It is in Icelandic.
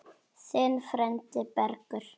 Þinn frændi Bergur.